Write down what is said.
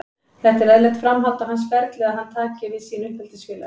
Þetta er eðlilegt framhald á hans ferli að hann taki við sínu uppeldisfélagi.